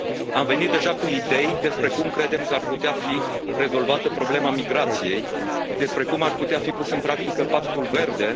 Am venit deja cu idei despre cum credem că ar putea fi rezolvată problema migrației, despre cum ar putea fi pus în practică Pactul verde.